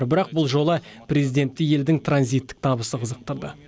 бірақ бұл жолы президентті елдің транзиттік табысы қызықтырды